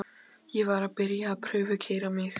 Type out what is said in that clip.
Ég var að byrja að prufukeyra mig.